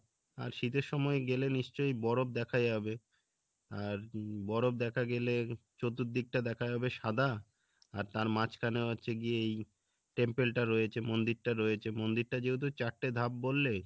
আর শীতের সময় গেলে নিশ্চয় বরফ দেখা যাবে আর উম বরফ দেখা গেলে চতুর্দিকটা দেখা যাবে সাদা আর তার মাঝখানে হচ্ছে গিয়ে এই temple টা রয়েছে মন্দিরটা রয়েছে মন্দিরটার যেহেতু চারটে ধাপ বললে